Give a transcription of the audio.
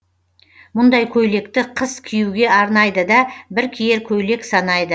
мұндай көйлекті қыс киюге арнайды да бір киер көйлек санайды